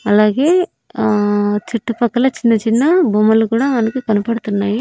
అలాగే ఆ చుట్టుపక్కల చిన్నచిన్న బొమ్మలు కూడా మనకి కనపడుతున్నాయి.